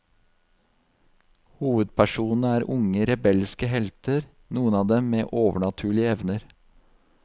Hovedpersonene er unge rebelske helter, noen av dem med overnaturlige evner.